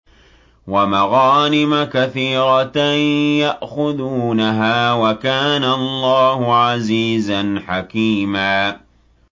وَمَغَانِمَ كَثِيرَةً يَأْخُذُونَهَا ۗ وَكَانَ اللَّهُ عَزِيزًا حَكِيمًا